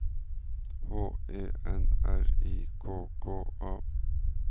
H E N R I K K A